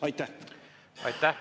Aitäh!